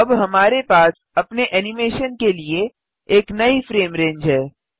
तो अब हमारे पास अपने एनिमेशन के लिए एक नयी फ्रेम रेंज है